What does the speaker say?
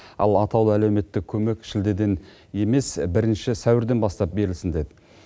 ал атаулы әлеуметтік көмек шілдеден емес бірінші сәуірден бастап берілсін деді